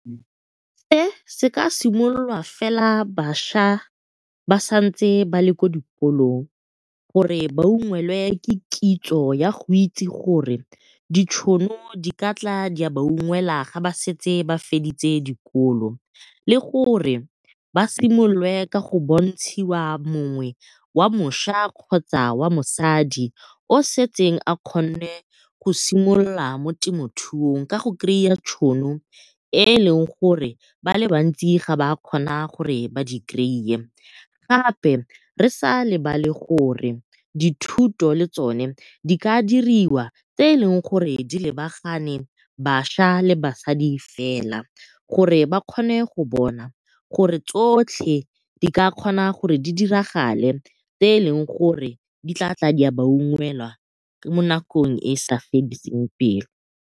Se se ka simololwa fela bašwa ba santse ba le kwa dikolong gore ba ungwelwe ke kitso ya go itse gore ditšhono di ka tla di ya ba ungwelwa ga ba setse ba feditse dikolo le gore ba simololwe ka go bontshiwa mongwe wa mošwa kgotsa wa mosadi yo o setseng a kgonne go simolola mo temothuong. Ka go tšhono e e leng gore ba le bantsi ga ba kgona gore ba di . Gape re sa lebale gore dithuto le tsone di ka diriwa tse eleng gore di lebagane bašwa le basadi fela, gore ba kgone go bona gore tsotlhe di ka kgona gore di diragale tse eleng gore di ka tla di a ba ungwelwa mo nakong e e sa fediseng pelo.